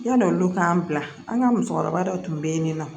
Yalo olu k'an bila an ka musokɔrɔba dɔ tun bɛ yen nin nɔ